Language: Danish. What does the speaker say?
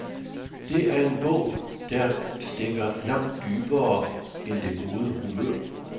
Det er en bog, der stikker langt dybere end det gode humør.